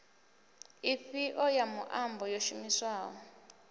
ifhio ya muambo yo shumiswaho